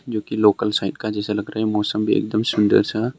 जोकि लोकल जैसा लग रहा है मौसम भी एकदम सुंदर सा--